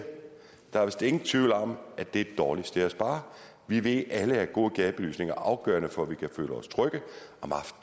der vist ikke er nogen tvivl om at det er et dårligt sted at spare vi ved alle at god gadebelysning er afgørende for at vi kan føle os trygge